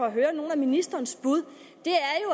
at høre nogle af ministerens bud